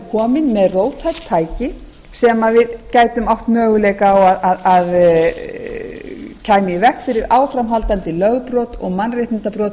komin með róttæk tæki sem við gætu átt möguleika á að kæmi í veg fyrir áframhaldandi lögbrot og mannréttindabrot